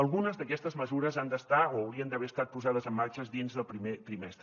algunes d’aquestes mesures han d’estar o haurien d’haver estat posades en marxa dins del primer trimestre